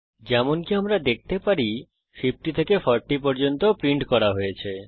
যেমনকি আমরা দেখতে পারি 50 থেকে 40 পর্যন্ত প্রিন্ট করা হয়েছে